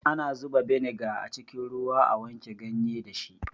Ana zuba beniga a cikin ruwa a wanke ganye dashi